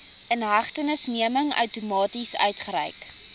inhegtenisneming outomaties uitgereik